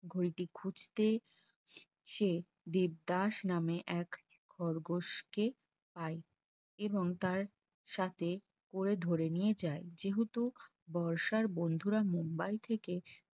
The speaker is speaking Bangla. ঘড়িটি খুজতে সে দেবদাস নামে এক খরগোশকে পাই এবং তার সাথে করে ধরে নিয়ে যায় যেহেতু বর্ষার বন্ধুরা মুম্বাই থেকে